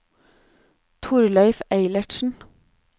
Thorleif Eilertsen